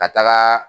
Ka taga